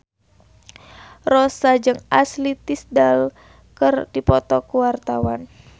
Rossa jeung Ashley Tisdale keur dipoto ku wartawan